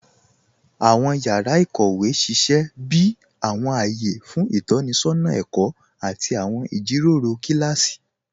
Awọn yàrá íkówe sísẹ̀ bí awọn ayé fún itọnisọna ẹ̀kọ àti awọn ijíròró kilási.